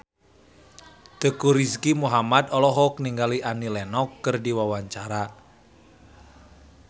Teuku Rizky Muhammad olohok ningali Annie Lenox keur diwawancara